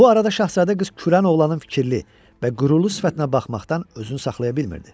Bu arada Şahzadə qız kürən oğlanın fikirli və qürurlu sifətinə baxmaqdan özünü saxlaya bilmirdi.